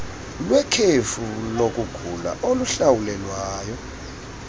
lwekhefu lokugula oluhlawulelwayo